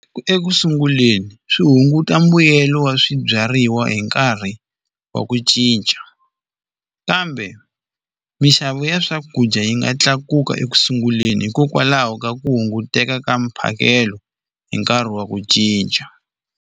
Ekusunguleni swi hunguta mbuyelo wa swibyariwa hi nkarhi wa ku cinca kambe minxavo ya swakudya yi nga tlakuka ekusunguleni hikokwalaho ka ku hunguteka ka mphakelo hi nkarhi wa ku cinca.